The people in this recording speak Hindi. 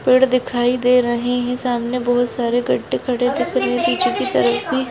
पेड़ दिखाई दे रहे है सामने बहुत सारे खड़े दिख रहे है पीछे की तरफ भी--